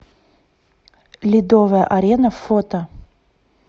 ледовая арена фото